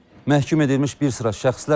Məhkum edilmiş bir sıra şəxslər əfv olunub.